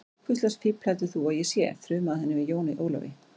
Hvurslags fífl heldur þú að ég sé, þrumaði hann yfir Jóni Ólafi.